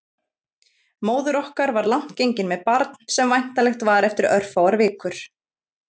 Móðir okkar var langt gengin með barn sem væntanlegt var eftir örfáar vikur.